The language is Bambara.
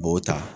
U b'o ta